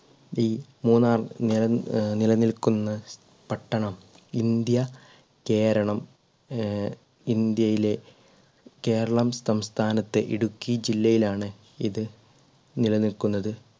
മൂന്നാർ നിലനി ആഹ് നിലനിൽക്കുന്ന പട്ടണം ഇന്ത്യ കേരളം ഏർ ഇന്ത്യയിലെ കേരളം സംസ്ഥാനത്തെ ഇടുക്കി ജില്ലയിൽ ആണ് ഇത് നിലനിൽക്കുന്നത്